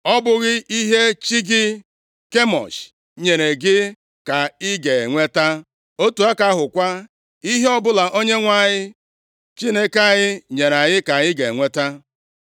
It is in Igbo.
Ọ bụghị ihe chi gị, Kemosh, nyere gị ka i ga-enweta? Otu aka ahụ kwa, ihe ọbụla Onyenwe anyị Chineke anyị nyere anyị ka anyị ga-enweta.